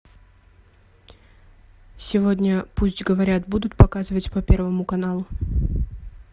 сегодня пусть говорят будут показывать по первому каналу